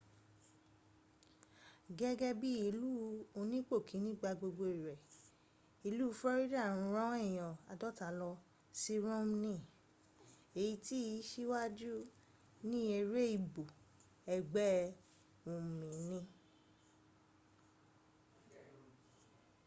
gẹ́gẹ́ bíi ilú onípòkíní-gba-gbogbo-rẹ̀ ìlú florida rán èyàn aadọ́ta lọsí romni èyí tìí síwájú ní eré ìbò ẹgbẹ́ òmìnir